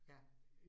Ja